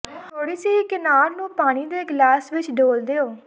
ਥੋੜ੍ਹੀ ਜਿਹੀ ਕਿਨਾਰ ਨੂੰ ਪਾਣੀ ਦੇ ਗਲਾਸ ਵਿੱਚ ਡੋਲ੍ਹ ਦਿਓ